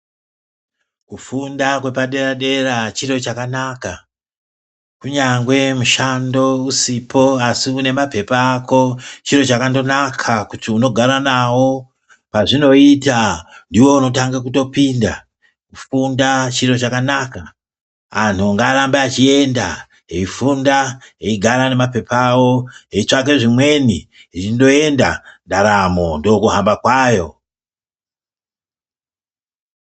Kufunda kwepadera dera chiro chakana. Kunyange mushando usipo asi unemaphepha ako chiro chakangonaka kuti unogara nawo pazvinoita ndiwe unotanga kutopinda. Kufunda chiro chakanaka antu ngaarembe echienda eifunda eigara nemaphepha awo eitsvaka zvemweni eingoenda ndaramo ndokuhamba kwayo.